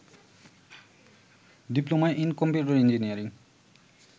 diploma in computer engineering